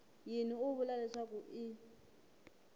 yini u vula leswaku i